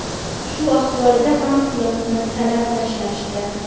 Shu ahvolida ham pulimizni talab tashlashdi.